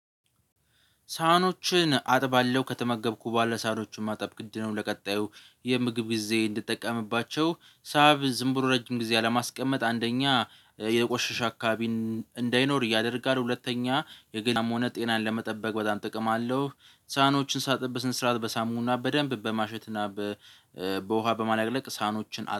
ሳህኖችን አጥባለው ከተመገብኩ ብኋሳ ህኖችን ማጠብ ግድ ነው። ለቀጣዩ የምግብ ጊዜ እንድጠቀምባቸው ሳብ ዝም ብሎ ረጅም ጊዜ አለማስቀመጥ አንደኛ የቆሸሸ አካባቢ እንዳይኖር ያደርጋል። ሁለተኛ የገላን ሆነ ጤናን ለመጠበቅ በጣም ጥቅም አለው። ሳህኖችን ሳጥበስ ስራት በሳሙና በደንብ በማሸትና በውሃ በማላቅለቅ ሳህኖችን